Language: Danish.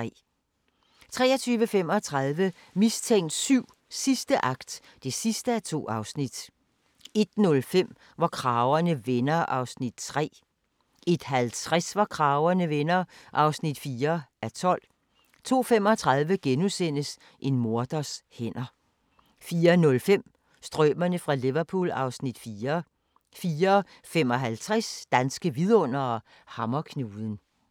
23:35: Mistænkt 7: Sidste akt (2:2) 01:05: Hvor kragerne vender (3:12) 01:50: Hvor kragerne vender (4:12) 02:35: En morders hænder * 04:05: Strømerne fra Liverpool (Afs. 4) 04:55: Danske Vidundere: Hammerknuden